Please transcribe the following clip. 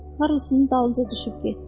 Karrosun dalınca düşüb getdi.